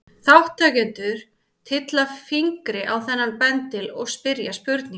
Þátttakendur tylla fingri á þennan bendil og spyrja spurninga.